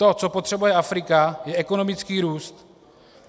To, co potřebuje Afrika, je ekonomický růst.